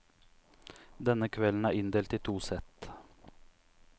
Denne kvelden er inndelt i to sett.